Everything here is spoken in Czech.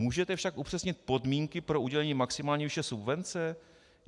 Můžete však upřesnit podmínky pro udělení maximální výše subvence?